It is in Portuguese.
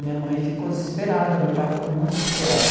Minha mãe ficou desesperada, meu pai ficou muito desesperado.